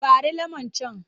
Ɓare lemon can!